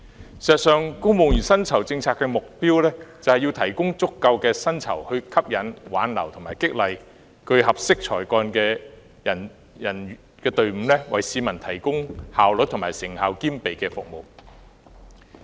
事實上，公務員薪酬政策的目標在於提供足夠的薪酬，以吸引、挽留及激勵具合適才幹的公務員，為市民提供效率與成效兼備的服務。